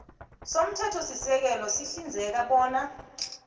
somthethosisekelo sihlinzeka bona